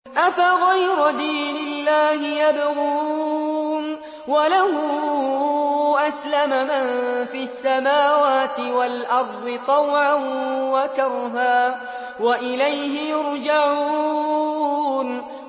أَفَغَيْرَ دِينِ اللَّهِ يَبْغُونَ وَلَهُ أَسْلَمَ مَن فِي السَّمَاوَاتِ وَالْأَرْضِ طَوْعًا وَكَرْهًا وَإِلَيْهِ يُرْجَعُونَ